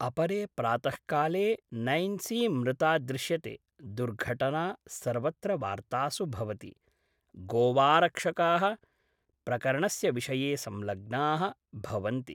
अपरे प्रातःकाले नैन्सी मृता दृश्यते, दुर्घटना सर्वत्र वार्तासु भवति, गोवाऽऽरक्षकाः प्रकरणस्य विषये संलग्नाः भवन्ति।